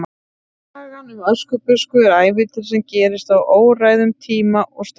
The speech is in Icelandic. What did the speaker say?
Sagan um Öskubusku er ævintýri sem gerist á óræðum tíma og stað.